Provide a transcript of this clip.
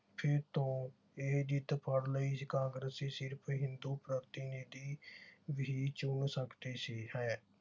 ਫਿਰ ਤੋਂ ਇਹ ਜਿੱਦ ਫੜ ਲਈ ਕਾਂਗਰਸ ਸਿਰਫ ਹਿੰਦੂ ਪ੍ਰਤੀਨਿਧੀ ਹੀ ਚੋਣ ਸੀ ਹੈ